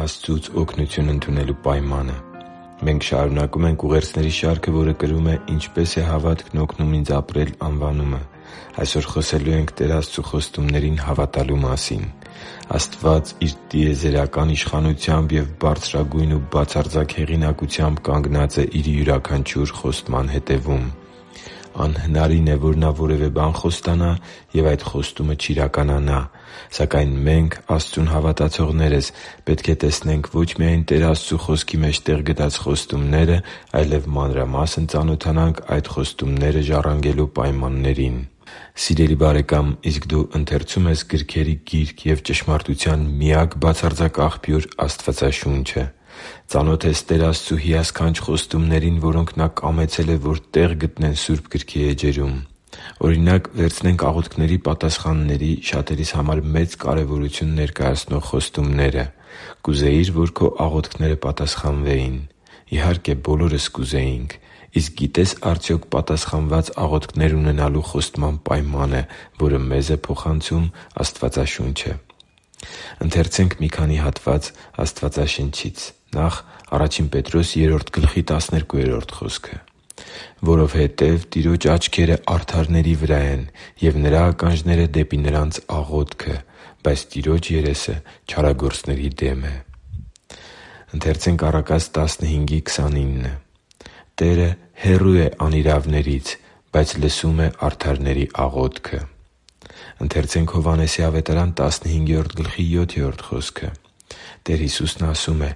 Աստծուց օգնություն ընդունելու պայմանը Մենք շարունակում ենք ուղերձների շարքը, որը կրում է«Ինչպե՞ս է հավատքն օգնում ինձ ապրել»անվանումը։ Այսօր խոսելու ենք Տեր Աստծու խոստումներին հավատալու մասին։ Աստված Իր տիեզերական իշխանությամբ և բարձրագույն ու բացարձակ հեղինակությամբ կանգնած է Իր յուրաքանչյուր խոստման հետևում։ Անհնարին է, որ Նա որևէ բան խոստանա, և այդ խոստումը չիրականանա։ Սակայն մենք՝ Աստծուն հավատացողներս, պետք է տեսնենք ոչ միայն Տեր Աստծու Խոսքի մեջ տեղ գտած խոստումները, այլև մանրամասն ծանոթանանք այդ խոստումները ժառանգելու պայմաններին։ Սիրելի՛ բարեկամ, իսկ դու ընթերցո՞ւմ ես գրքերի Գիրք և ճշմարտության միակ բացարձակ աղբյուր Աստվածաշունչը։ Ծանո՞թ ես Տեր Աստծու հիասքանչ խոստումներին, որոնք Նա կամեցել է, որ տեղ գտնեն Սուրբ Գրքի էջերում։ Օրինակ, վերցնենք աղոթքների պատասխանների՝ շատերիս համար մեծ կարևորություն ներկայացնող խոստումները։ Կուզեի՞ր, որ քո աղոթքները պատասխանվեին։ Իհարկե, բոլորս կուզեինք։ Իսկ գիտե՞ս արդյոք պատասխանված աղոթքներ ունենալու խոստման պայմանը, որը մեզ է փոխանցում Աստվածաշունչը։ «Որովհետև Տիրոջ աչքերն արդարների վրա են, ու Նրա ականջները՝ դեպի նրանց աղոթքը, բայց Տիրոջ երեսը չարագործների դեմ է» (Ա Պետրոս 3․12)։ «Տերը հեռու է անիրավներից, բայց լսում է արդարների աղոթքը» (Առակաց 15․29)։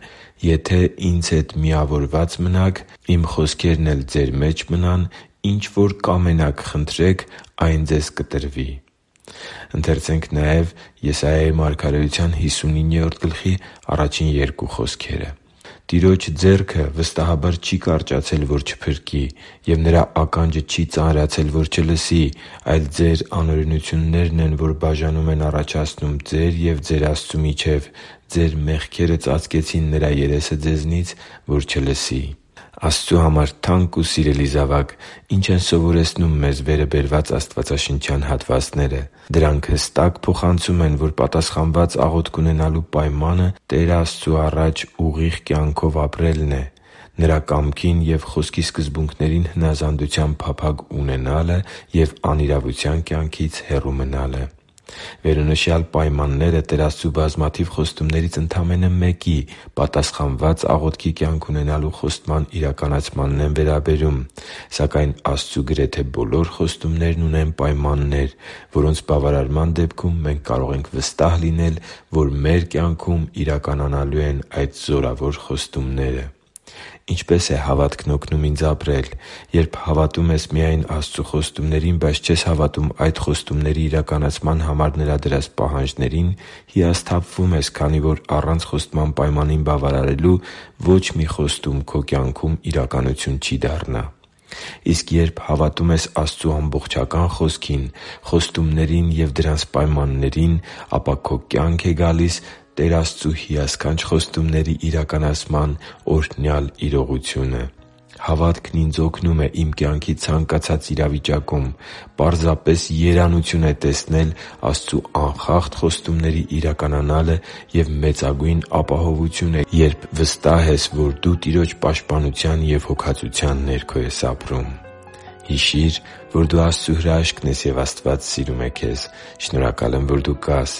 «Եթե Ինձ հետ միավորված մնաք, Իմ խոսքերն էլ ձեր մեջ մնան, ինչ որ կամենաք, խնդրեք, այն ձեզ կտրվի» (Հովհաննես 15․7)։ «Տիրոջ ձեռքը վստահաբար չի կարճացել, որ չփրկի, և Նրա ականջը չի ծանրացել, որ չլսի, այլ ձեր անօրենություններն են, որ բաժանում են առաջացնում ձեր և ձեր Աստծու միջև. ձեր մեղքերը ծածկեցին Նրա երեսը ձեզնից, որ ձեզ չլսի» (Եսայիա 59․1-2)։ Աստծու համար թանկ ու սիրելի՛ զավակ, ի՞նչ են սովորեցնում մեզ վերը բերված աստվածաշնչյան հատվածները։ Դրանք հստակ փոխանցում են, որ պատասխանված աղոթք ունենալու պայմանը Տեր Աստծու առաջ ուղիղ կյանքով ապրելն է, Նրա կամքին և Խոսքի սկզբունքներին հնազանդության փափագ ունենալը և անիրավության կյանքից հեռու մնալը։ Վերոնշյալ պայմանները Տեր Աստծու բազմաթիվ խոստումներից ընդամենը մեկի՝ պատասխանված աղոթքի կյանք ունենալու խոստման իրականացմանն են վերաբերում։ Սակայն Աստծու գրեթե բոլոր խոստումներն ունեն պայմաններ, որոնց բավարարման դեպքում մենք կարող ենք վստահ լինել, որ մեր կյանքում իրականանալու են այդ զորավոր խոստումները։ Ինչպե՞ս է հավատքն օգնում ինձ ապրել։ Երբ հավատում ես միայն Աստծու խոստումներին, բայց չես հավատում այդ խոստումների իրականացման համար Նրա դրած պահանջներին, հիասթափվում ես, քանի որ առանց խոստման պայմանին բավարարելու ոչ մի խոստում քո կյանքում իրականություն չի դառնա։ Իսկ երբ հավատում ես Աստծու ամբողջական Խոսքին՝ խոստումներին և դրանց պայմաններին, ապա քո կյանք է գալիս Տեր Աստծու հիասքանչ խոստումների իրականացման օրհնյալ իրողությունը։ Հավատքն ինձ օգնում է իմ կյանքի ցանկացած իրավիճակում։ Պարզապես երանություն է տեսնել Աստծու անխախտ խոստումների իրականանալը, և մեծագույն ապահովություն է, երբ վստահ ես, որ դու Տիրոջ պաշտպանության և հոգածության ներքո ես ապրում։ Հիշի՛ր, որ դու Աստծո հրաշքն ես, և Աստված սիրում է քեզ։ Շնորհակալ եմ, որ դու կա՛ս